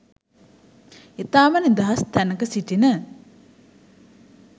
ඉතාම නිදහස් තැනක සිටින